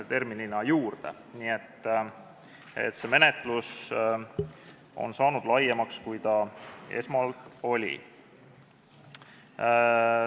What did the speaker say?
Nii et see menetlus on saanud laiemaks, kui ta esmalt oli.